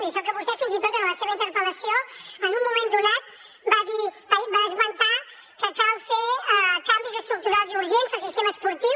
i això que vostè fins i tot en la seva interpel·lació en un moment donat va esmentar que cal fer canvis estructurals i urgents al sistema esportiu